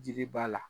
Jiri ba la